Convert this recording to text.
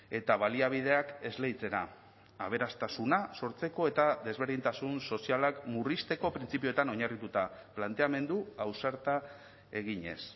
eta baliabideak esleitzera aberastasuna sortzeko eta desberdintasun sozialak murrizteko printzipioetan oinarrituta planteamendu ausarta eginez